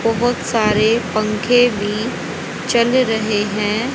बहोत सारे पंखे भी चल रहे हैं।